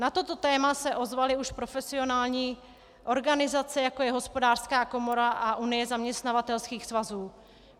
Na toto téma se ozvaly už profesionální organizace, jako je Hospodářská komora a Unie zaměstnavatelských svazů.